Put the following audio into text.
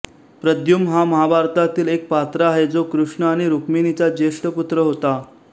प्रद्युम्न हा महाभारतातील एक् पात्र आहे जो कृष्ण आणि रुक्मिणीचा जेष्ट पुत्र होता